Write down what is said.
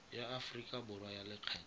ya aforika borwa ya lekgetho